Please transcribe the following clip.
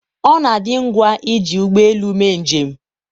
ọ na-adị ngwa iji ụgbọ elu mee njem